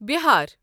Bihar